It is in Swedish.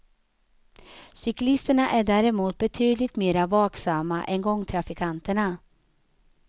Cyklisterna är däremot betydligt mera vaksamma än gångtrafikanterna.